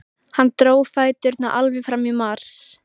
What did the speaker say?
Hann dró fæturna alveg fram í mars.